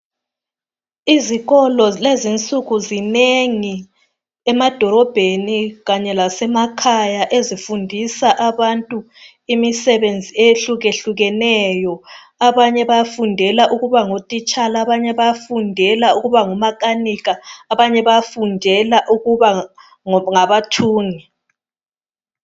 Izikolo kulezi insuku zinengi emadolobheni Kanye lasemakhaya ezifundisa abantu imisebenzi eyehlukehlukeneyo abanye bayafudela ukubangotitshala abanye bayafundela ukuba ngomakanika abanye bayafundela ukuba ngabathungi